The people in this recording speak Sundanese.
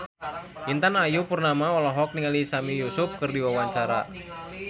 Intan Ayu Purnama olohok ningali Sami Yusuf keur diwawancara